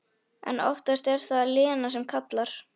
En oftast er það Lena sem kallar.